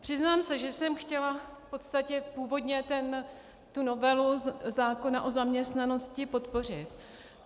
Přiznám se, že jsem chtěla v podstatě původně tu novelu zákona o zaměstnanosti podpořit.